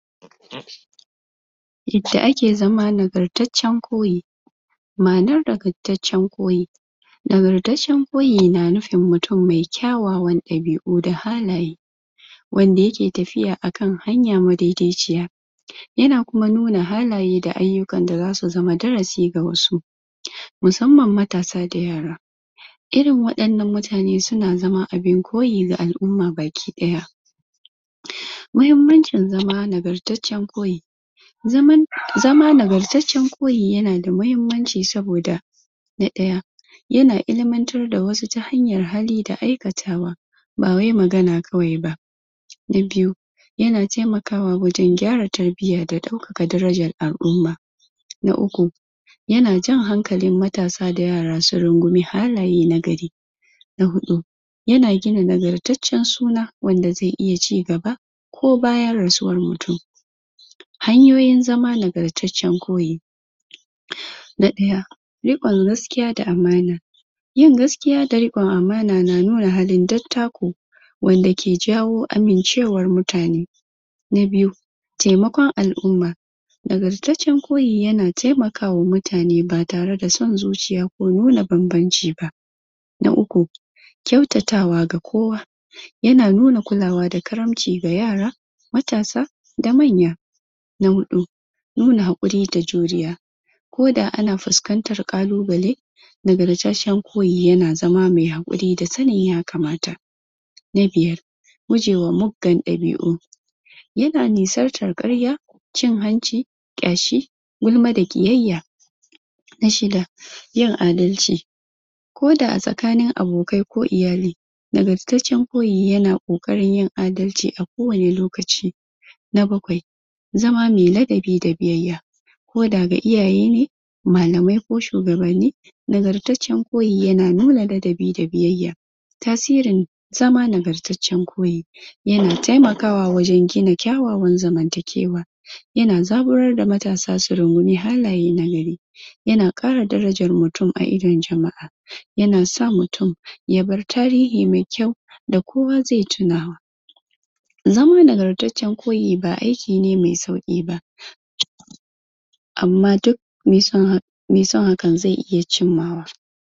Cutar saifilis, cuta ce da ke yaɗuwa ta hanyar jima'i, kuma tana da matuƙar illa, idan ba a magance ta da wuri ba.? Ana iya kamuwa da cutar,? ta hanyoyi daban-daban. Daga cikin waɗan nan hanyoyin sun haɗa da, na ɗaya, ta hanyar jima'i. Cutan na yaɗuwa??? yayin jima'i ba tare da kariya ba,? ta farji, dubura, da baki, da mutin da ke ɗauke da wannan ƙwaya cutar. Na biyu,?? idan mutum ya taɓa? tabon saifilis, wannan ƙwayar cutar, wanda ke fitowa a farji, azzakari. Hanyoyin kare kai,?? daga kamuwa daga wannan ƙwayar cuta. Daga cikin hanyoyin sun haɗa da, amfani da kororon roba,? yin amfani da kororon roba yayin jima'i, yana rage yuyuwar kamuwa da cutar, ko da yake, ba yana kare ɗari bisa ɗari ba ne. Gujewa yin jima'i da mutane da yawa,? ko waɗan da ba a san matsayin su ba, yana rage? haɗarin kamuwa da wannan ƙwayar cuta. Gwaji da wuri,?? yin gwajin wannan cuta, akai-akai, musamman ga masuyin jima'i, da sabbin abokan zama,? yana taimakawa wajen gano cutar da wuri, don a fara magani. Gujewa??? raba allura, kada a raba allura da wasu, musamman a wuraren da ake amfani da ƙwayoyin masu sa maye. Magance cuta da wuri, idan an gano